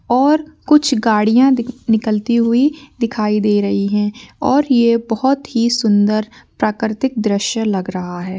और कुछ गाड़ियाँ निकलती हुई दिखाई दे रही हैं और ये बहोत ही सुन्दर प्राकृतिक द्रश्य लग रहा है।